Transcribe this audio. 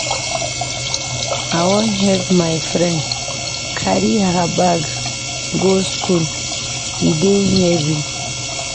I wan help my friend carry her bag go skool, e dey heavy.